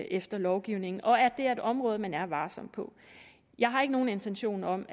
efter lovgivningen og at det er et område hvor man er varsom jeg har ikke nogen intention om